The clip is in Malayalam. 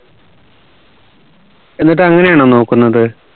എന്നിട്ട് അങ്ങനെയാണോ നോക്കുന്നത്